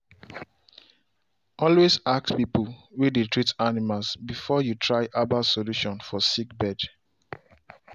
always ask people way they treat animals before you try herbal solution for sick birds.